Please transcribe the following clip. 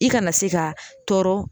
I kana se ka tɔɔrɔ